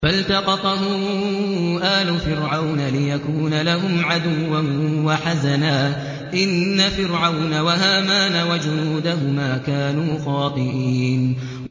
فَالْتَقَطَهُ آلُ فِرْعَوْنَ لِيَكُونَ لَهُمْ عَدُوًّا وَحَزَنًا ۗ إِنَّ فِرْعَوْنَ وَهَامَانَ وَجُنُودَهُمَا كَانُوا خَاطِئِينَ